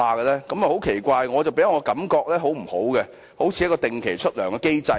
這一點很奇怪，給我的感覺很不好，好像一個定期支薪的機制。